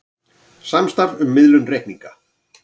Samstarf um miðlun reikninga